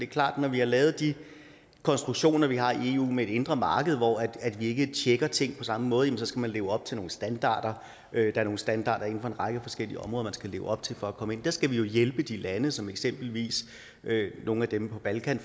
klart at når vi har lavet de konstruktioner vi har i eu med et indre marked hvor vi ikke tjekker ting på samme måde så skal man leve op til nogle standarder der er nogle standarder en række forskellige områder man skal leve op til for at komme ind der skal vi jo hjælpe de lande som eksempelvis nogle af dem på balkan